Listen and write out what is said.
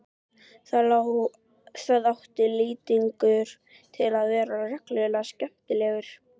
Þá átti Lýtingur til að vera reglulega skemmtilegur.